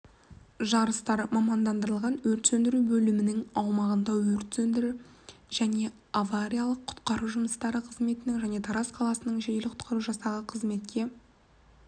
жарыстар мамандандырылған өрт сөндіру бөлімінің аумағында өрт сөндірі және авариялық-құтқару жұмыстары қызметінің және тараз қаласының жедел-құтқару жасағы қызметкерлерінің қолдауымен өтті